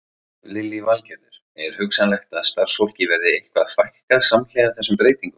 Lillý Valgerður: Er hugsanlegt að starfsfólki verði eitthvað fækkað samhliða þessum breytingum?